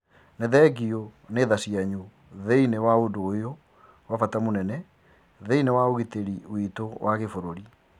Ni thengiũ ni mathaa manyu thiinie wa ũndũ ũyũ ria bata mũnene thiinie wa ugitiri-ini witũ wa gibũrũri.